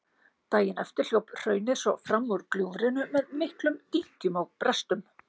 Daginn eftir hljóp hraunið svo fram úr gljúfrinu með miklum dynkjum og brestum.